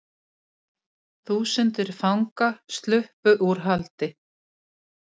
Þúsundir fanga sluppu úr haldi